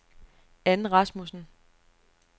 Ann Rasmussen